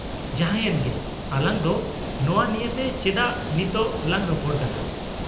-ᱡᱟᱦᱟᱸᱭᱮᱱ ᱜᱮ , ᱟᱞᱟᱝ ᱫᱚ ᱱᱚᱶᱟ ᱱᱤᱭᱮᱛᱮ ᱪᱮᱫᱟᱜ ᱱᱤᱛᱚᱜ ᱞᱟᱝ ᱨᱚᱯᱚᱲ ᱠᱟᱱᱟ ?